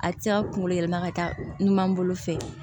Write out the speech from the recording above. A tɛ se ka kunkolo yɛlɛma ka taa ɲuman bolo fɛ